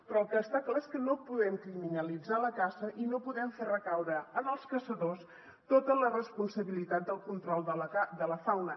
però el que està clar és que no podem criminalitzar la caça i no podem fer recaure en els caçadors tota la responsabilitat del control de la fauna